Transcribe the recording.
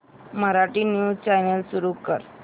Marathi news channel सुरू कर